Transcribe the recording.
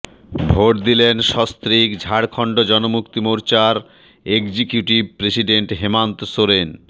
vote দিলেন সস্ত্রীক ঝাড়খণ্ড জনমুক্তি মোর্চার এগজিকিউটিভ প্রেসিডেন্ট হেমান্ত সোরেন